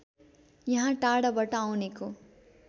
यहाँ टाढाबाट आउनेको